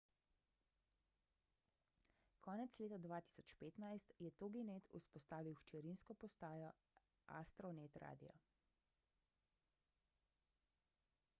konec leta 2015 je toginet vzpostavil hčerinsko postajo astronet radio